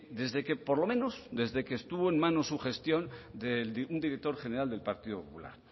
desde que por lo menos desde que estuvo en manos su gestión de un director general del partido popular